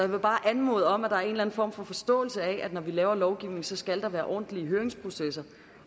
vil bare anmode om at der er en form for forståelse af at der når vi laver lovgivning skal være ordentlige høringsprocesser